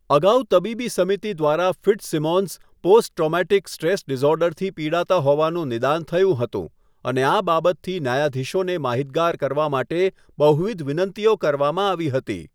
અગાઉ તબીબી સમિતિ દ્વારા ફિટ્ઝસિમોન્સ પોસ્ટ ટ્રોમેટિક સ્ટ્રેસ ડિસઓર્ડરથી પિડાતા હોવાનું નિદાન થયું હતું અને આ બાબતથી ન્યાયાધીશોને માહિતગાર કરવા માટે બહુવિધ વિનંતીઓ કરવામાં આવી હતી.